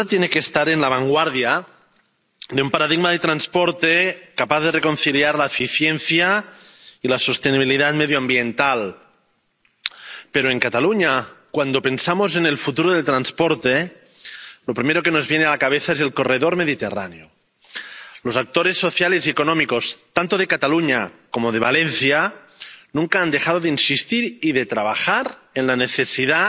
Señora presidenta, estimados colegas, comisaria Vălean, Europa, sin duda, tiene que estar en la vanguardia de un paradigma de transporte capaz de reconciliar la eficiencia y la sostenibilidad medioambiental. Pero en Cataluña, cuando pensamos en el futuro del transporte, lo primero que nos viene a la cabeza es el Corredor Mediterráneo. Los actores sociales y económicos, tanto de Cataluña como de Valencia, nunca han dejado de insistir y de trabajar en la necesidad